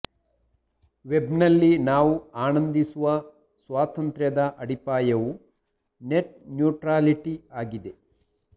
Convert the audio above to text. ವೆಬ್ನಲ್ಲಿ ನಾವು ಆನಂದಿಸುವ ಸ್ವಾತಂತ್ರ್ಯದ ಅಡಿಪಾಯವು ನೆಟ್ ನ್ಯೂಟ್ರಾಲಿಟಿ ಆಗಿದೆ